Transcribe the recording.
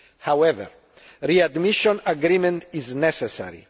However, the readmission agreement is necessary.